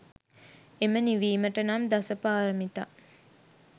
එම නිවීමට නම් දස පාරමිතා